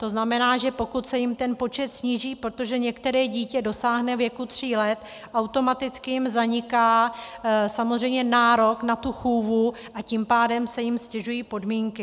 To znamená, že pokud se jim ten počet sníží, protože některé dítě dosáhne věku tří let, automaticky jim zaniká samozřejmě nárok na tu chůvu, a tím pádem se jim ztěžují podmínky.